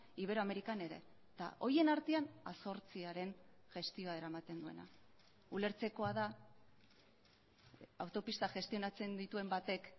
iberoamerikan ere eta horien artean a zortziaren gestioa eramaten duena ulertzekoa da autopista gestionatzen dituen batek